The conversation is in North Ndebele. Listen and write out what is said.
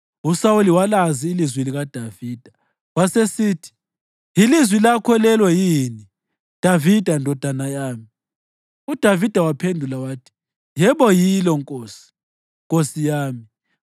USawuli walazi ilizwi likaDavida, wasesithi, “Yilizwi lakho lelo yini, Davida ndodana yami?” UDavida waphendula wathi, “Yebo yilo, nkosi, nkosi yami.”